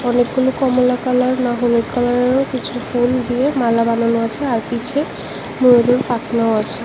অনেকগুলি কমলা কালার না হলুদ কালারেরও কিছু ফুল দিয়ে মালা বানানো আছে আর পিছে ময়ূরের পাখনাও আছে।